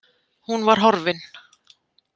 Hún var horfin.